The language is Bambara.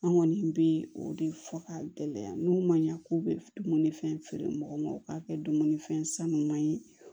An kɔni bɛ o de fɔ k'a gɛlɛya n'u ma ɲa k'u bɛ dumuni fɛn feere mɔgɔw ma u k'a kɛ dumunifɛn san ɲuman ye